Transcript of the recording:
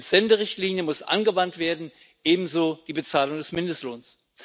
Die Entsenderichtlinie muss angewandt werden, ebenso die Bezahlung des Mindestlohns.